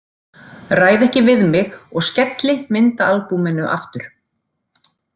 Ræð ekki við mig og skelli myndaalbúminu aftur.